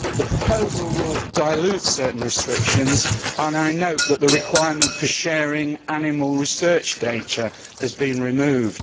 The proposal will dilute certain restrictions and I note that the requirement for sharing animal research data has been removed.